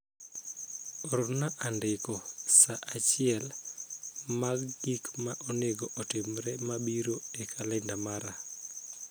Orna andiko saa achiel mag gik ma onego otimre mabiro e kalenda mara